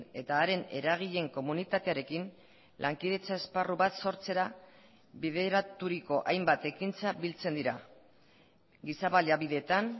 eta haren eragileen komunitatearekin lankidetza esparru bat sortzera bideraturiko hainbat ekintza biltzen dira giza baliabideetan